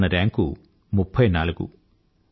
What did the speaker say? ఇవాళ మన ర్యాంకు 34